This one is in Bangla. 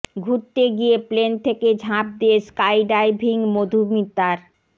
ঘুরতে গিয়ে প্লেন থেকে ঝাঁপ দিয়ে স্কাই ডাইভিং মধুমিতার